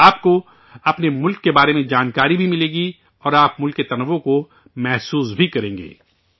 اس سے آپ کو ، اپنے ملک کے بارے میں جانکاری بھی ملے گی، اور آپ ملک کے تنوع کو محسوس بھی کریں گے